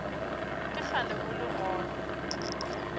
ke kgale o le gona